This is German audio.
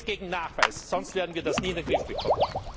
Geld gegen Nachweis, sonst werden wir das nie in den Griff bekommen!